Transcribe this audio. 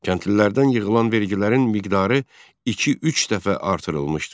Kəndlilərdən yığılan vergilərin miqdarı iki-üç dəfə artırılmışdı.